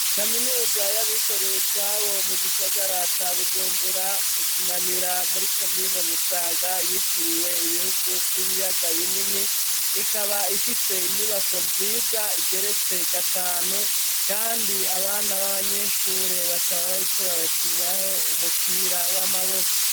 kaminuza y'abikorera utwabo mu gisagara ca Bujumbura mu kinanira muri komine Musaga yitiriwe ibihugu vy'ibiyaga binini ikaba ifise inyubako nziza igeretse gatanu kandi abana b'abanyeshure bakaba bariko barakiniraho umupira w'amaboko.